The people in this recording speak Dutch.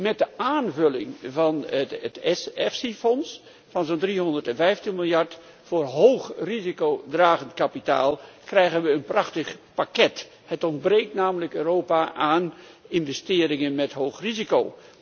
Met de aanvulling van het EFSI fonds van zo'n 315 miljard euro voor hoog risicodragend kapitaal krijgen we een prachtig pakket. Het ontbreekt Europa namelijk aan investeringen met hoog risico.